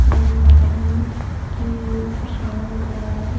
और एक आदमी की परेशान नजर आ रहा है।